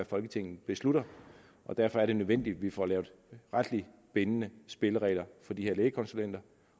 folketinget beslutter og derfor er det nødvendigt at vi får lavet retligt bindende spilleregler for de her lægekonsulenter